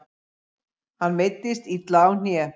Hann meiddist illa á hné.